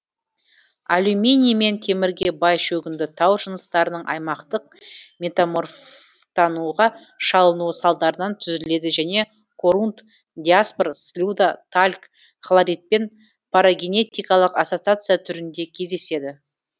алюминий мен темірге бай шөгінді тау жыныстарының аймақтық метаморфтануға шалынуы салдарынан түзіледі және корунд диаспор слюда тальк хлоритпен парагенетикалық ассоциация түрінде кездеседі